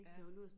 Ja